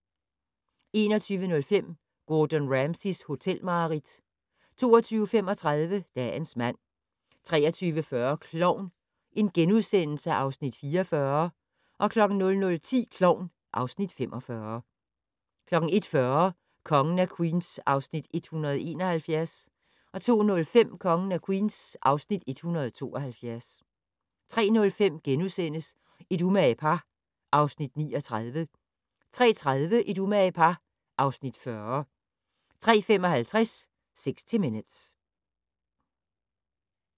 21:05: Gordon Ramsays hotelmareridt 22:35: Dagens mand 23:40: Klovn (Afs. 44)* 00:10: Klovn (Afs. 45) 01:40: Kongen af Queens (Afs. 171) 02:05: Kongen af Queens (Afs. 172) 03:05: Et umage par (Afs. 39)* 03:30: Et umage par (Afs. 40) 03:55: 60 Minutes